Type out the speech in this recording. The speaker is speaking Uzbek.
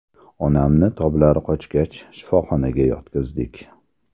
Onamni toblari qochgach, shifoxonaga yotqizdik.